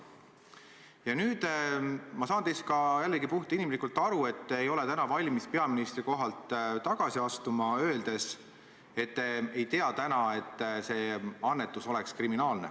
Ja nüüd – ma saan teist jällegi puhtinimlikult aru – te ei ole täna valmis peaministri kohalt tagasi astuma, öeldes, et te ei tea, et see annetus oleks kriminaalne.